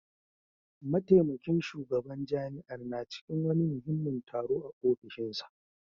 Mataimakin shugaban jami'ar na cikin wani muhimmin taro a ofishinsa